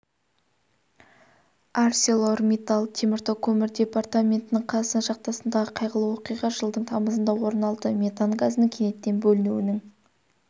арселормиттал теміртау көмір департаментінің қазақстан шахтасындағы қайғылы оқиға жылдың тамызында орын алды метан газының кенеттен бөлінуінің